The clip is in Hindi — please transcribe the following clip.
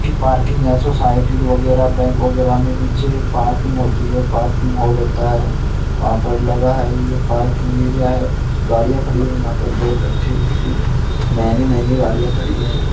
की पार्किंग या सोसायटी वगैरा बैंक वगैरा मे नीचे पार्किंग होती है। पार्किंग हॉल होता है। वहां पर लगा है ये पार्किंग एरिया है। गाड़ियां खड़ी है यहां पर बहुत अच्छी- अच्छी महंगी -महंगी गाड़ियां खड़ी है।